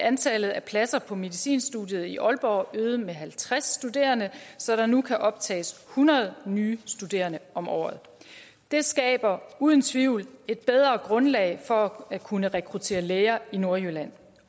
antallet af pladser på medicinstudiet i aalborg øget med halvtreds studerende så der nu kan optages hundrede nye studerende om året det skaber uden tvivl et bedre grundlag for at kunne rekruttere læger i nordjylland